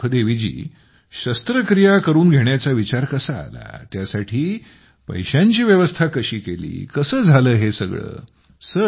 तर सुखदेवीजी शस्त्रक्रिया करून घेण्याचा विचार कसा आला त्यासाठी पैशाची व्यवस्था कशी केली कसे झालं हे सगळं